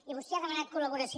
i vostè ha demanat col·laboració